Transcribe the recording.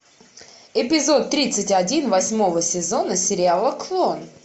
эпизод тридцать один восьмого сезона сериала клон